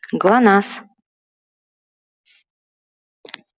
глонассс